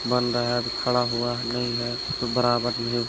-- बन रहा है खड़ा हुआ नहीं है तो बराबर --